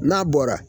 N'a bɔra